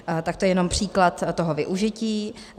Tak to je jenom příklad toho využití.